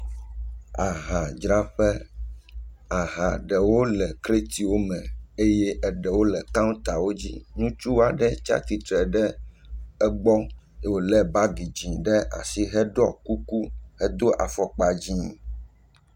Ahadzraƒe. Aha ɖewo le kretiwo me eye eɖewo le kantawo dzi. Ŋutsu aɖe tsia tsitre ɖe egbɔ ye wole bagi dzi ɖe asi heɖɔ kuku. Edo afɔkpa dzie.